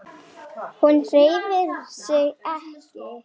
Hún hreyfir sig ekki.